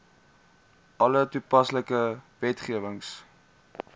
alle toepaslike wetgewing